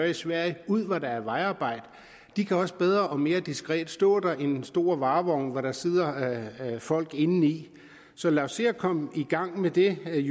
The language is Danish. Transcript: i sverige ud hvor der er vejarbejde de kan også bedre og mere diskret stå der end en stor varevogn hvor der sidder folk indeni så lad os se at komme i gang med det vil